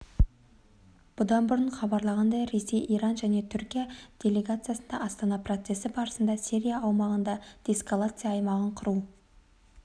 бұдан бұрын хабарланғандай ресей иран және түркия делегациясы астана процесі барысында сирия аумағында деэскалация аймағын құру